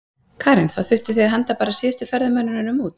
Karen: Þá þurftuð þið að henda bara síðustu ferðamönnunum út?